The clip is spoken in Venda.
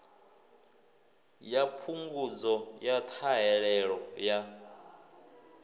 ya phungudzo ya ṱhahelelo ya